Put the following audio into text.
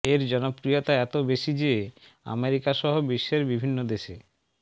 এর জনপ্রিয়তা এতো বেশি যে আমেরিকাসহ বিশ্বের বিভিন্ন দেশে